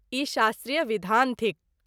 ई शास्त्रीय विधान थिक।